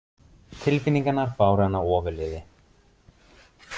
Tilfinningarnar báru hana ofurliði.